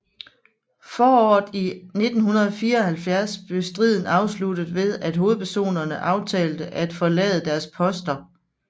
Foråret i 1974 blev striden afsluttet ved at hovedpersonerne aftalte at forlade deres poster